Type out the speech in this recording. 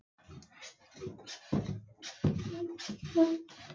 Eða einhverjir utanaðkomandi sem vita lítið sem ekkert um verkið?